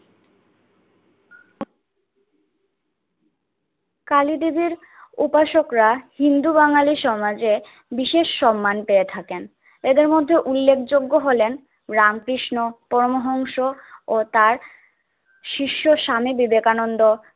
কলিদেবীর উপাসকরা হিন্দু-বাঙালি সমাজে বিশেষ সম্মান পেয়ে থাকেন। এদের মধ্যে উল্লেখযোগ্য হলেন রামকৃষ্ণ, পরমহংস ও তার শিষ্য স্বামী বিবেকানন্দ